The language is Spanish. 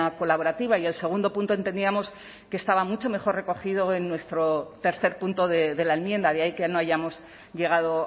colaborativa y el segundo punto entendíamos que estaba mucho mejor recogido en nuestro tercer punto de la enmienda de ahí que no hayamos llegado